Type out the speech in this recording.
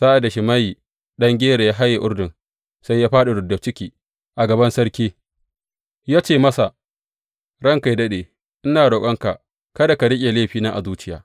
Sa’ad da Shimeyi ɗan Gera ya haye Urdun, sai ya fāɗi rubda ciki a gaban sarki ya ce masa, Ranka yă daɗe, ina roƙonka kada ka riƙe laifina a zuciya.